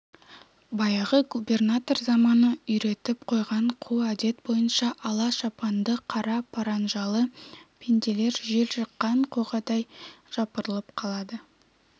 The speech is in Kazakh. баяғы губернатор заманы үйретіп қойған қу әдет бойынша ала шапанды қара паранжалы пенделер жел жыққан қоғадай жапырылып қалады